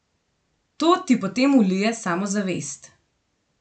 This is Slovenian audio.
To ti potem vlije samozavest.